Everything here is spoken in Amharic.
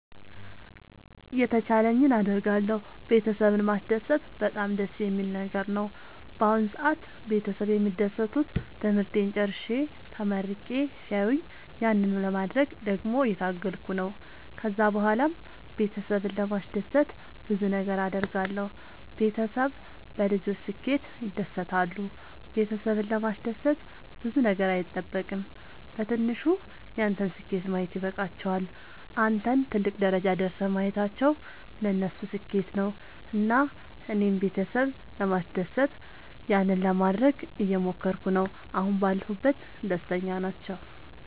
የተቻለኝን አደርጋለሁ ቤተሰብን ማስደሰት በጣም ደስ የሚል ነገር ነው። በአሁን ሰአት ቤተሰብ የሚደሰቱት ትምህርቴን ጨርሼ ተመርቄ ሲያዩኝ ያንን ለማድረግ ደግሞ እየታገልኩ ነው። ከዛ ብኋላም ቤተሰብን ለማስደሰት ብዙ ነገር አድርጋለሁ። ቤተሰብ በልጆች ስኬት ይደሰታሉ ቤተሰብን ለማስደሰት ብዙ ነገር አይጠበቅም በትንሹ ያንተን ስኬት ማየት ይበቃቸዋል። አንተን ትልቅ ደረጃ ደርሰህ ማየታቸው ለነሱ ስኬት ነው። እና እኔም ቤተሰብ ለማስደሰት ያንን ለማደረግ እየሞከርኩ ነው አሁን ባለሁበት ደስተኛ ናቸው።